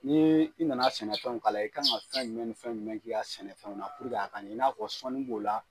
Ni i na na sɛnɛfɛnw k'a la i ka kan ka fɛn jumɛn ni fɛn jumɛn k'i ka sɛnɛfɛnw puruke a ka ɲɛ i n'a fɔ sɔnni b'o la.